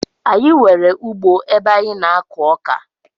Anyi nwere ugbo ebe anyi na ako oka